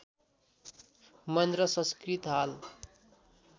महेन्द्र संस्कृत हाल